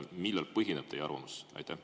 Millel põhineb teie arvamus?